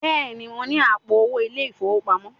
Bẹ́ẹ̀ni, mo ní àpò owó ilé-ìfowópamọ́